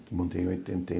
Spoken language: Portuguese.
Montei em oitenta e